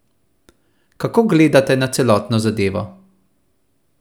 Kako gledate na celotno zadevo?